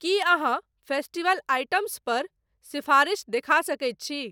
की अहाँ festival items पर सिफारिश देखा सकैत छी?